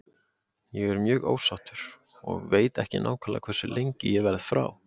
Ég er mjög ósáttur og veit ekki nákvæmlega hversu lengi ég verð frá.